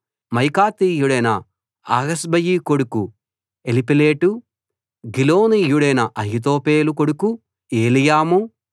మాయాకాతీయుడైన అహస్బయి కొడుకు ఎలీపేలెటు గిలోనీయుడైన అహీతోపెలు కొడుకు ఏలీయాము